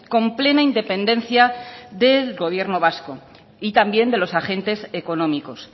con plena independencia del gobierno vasco y también de los agentes económicos